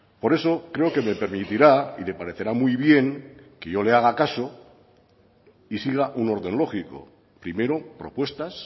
por eso creo que me permitirá y le parecerá muy bien que yo le haga caso y siga un orden lógico primero propuestas